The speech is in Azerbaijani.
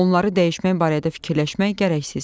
Onları dəyişmək barədə fikirləşmək gərəksizdir.